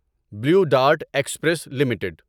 blue Dart Express limited